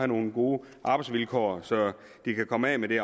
nogle gode arbejdsvilkår så de kan komme af med det